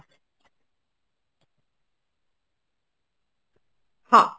ହଁ